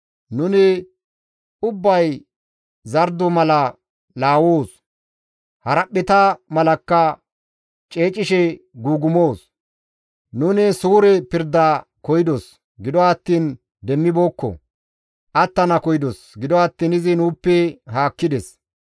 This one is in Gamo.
Nuni ubbay zardo mala laawoos; haraphpheta malakka ceecishe guugumoos; nuni suure pirda koyidos; gido attiin demmibeekko; attana koyidos; gido attiin izi nuuppe haakkides.